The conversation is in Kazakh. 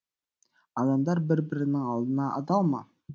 адамдар бір бірінің алдында адал ма